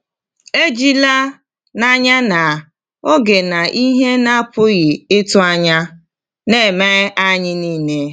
“Ejila n’anya na ‘oge na ihe na-apụghị ịtụ anya’ na-eme anyị niile.”